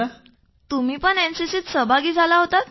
तुम्ही पण एनसीसीत सहभागी झाला होतात